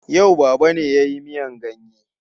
Yau Baba ne ya yi miyan ganye.